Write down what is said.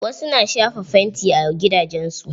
Wasu na shafa fanti a gidajen su.